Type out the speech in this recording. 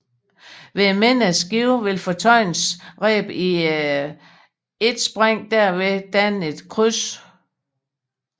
Ved et mindre skib vil fortøjningsrebene i et spring derved danne et kryds